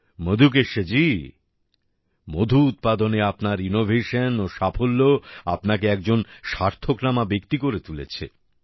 মধুকেশ্বজি মধু উৎপাদনে আপনার ইনোভেশন ও সাফল্য আপনাকে একজন স্বার্থকনামা ব্যক্তি করে তুলেছে